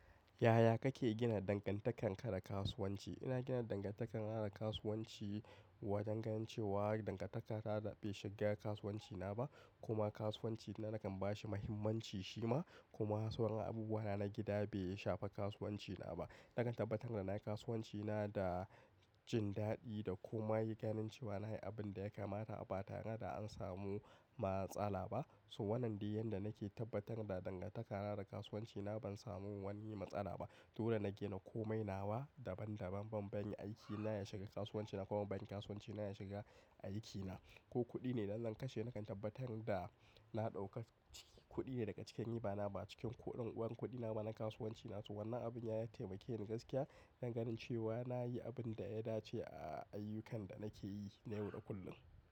Yaya kake gina dangantakarka da kasuwanci? Ina gina dangantakar na da kasuwanci wa dan ganin cewa dangantaka da bai shiga kasuwanci na ba, kuma kasuwanci na nakan bashi muhimmanci shi ma, kuma sauran abubuwa na ns gida bai shafa kasuwanci na ba. Nakan tabbatar da na yi kasuwanci na da jin daɗi da kuma yi ganin cewa na yi abin da ya kamata a ba tare da an samu matsala ba. So wannan dai yanda nake tabbatar da dangantaka na da kasuwanci na ban samu wani matsala ba. Dole nake da komai nawa daban daban ban bani aiki na ya shiga kasuwanci na kuma banki kasuwanci na ya shiga aiki na. Ko kuɗi ne zan kashe nakan tabbatar da na ɗauksbkuɗi ne daga cikin riba bana ba cikin kuɗin uwar kuɗi na bana kasuwanci na. So wannan abin ya taimake ni gaskiya danganin cewa na yi abin da ya dace a ayyukan da nake yi na yau da kullum.